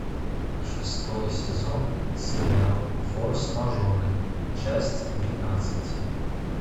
шестой сезон сериал форс мажоры часть двенадцать